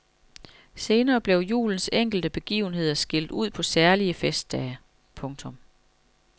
Senere blev julens enkelte begivenheder skilt ud på særlige festdage. punktum